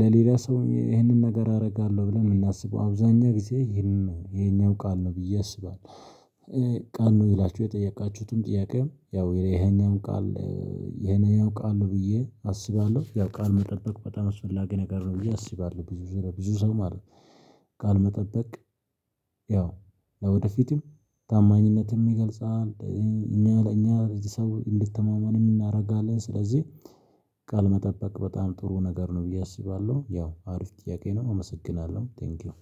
ለሌላ ሰው ይሄንን ነገር አደርጋለሁ ብለን የምናስበው አብዛኛው ጊዜ ይሄንን ነው ይሄኛው ቃል ነው ብዬ አስባለሁ። ቃል ነው ብላችሁ የጠየቃችሁትን ጥያቄም ያው ይሄኛው ቃል ይሄኛው ቃል ነው ብዬ አስባለሁ። ያው ቃል መጠበቅ በጣም አስፈላጊ ነገር ነው ብዬ አስባለሁ ብዙ ለብዙ ሰው ማለት ነው። ቃል መጠበቅ ያው ለወደፊትም ታማኝነትም ይገልጻል። እኛ ለእኛ ሰው እንድትተማመንም የእናረጋለን ስለዚህ። ቃል መጠበቅ በጣም ጥሩ ነገር ነው ብዬ አስባለሁ። ያው አሪፍ ጥያቄ ነው አመሰግናለሁ ቴንኪው።